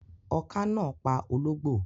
Oká náà pa ológbò